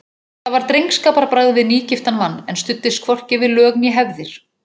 Þetta var drengskaparbragð við nýgiftan mann, en studdist hvorki við lög né hefðir.